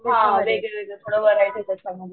हा वेगळं वेगळं थोडं बर आहे ते पण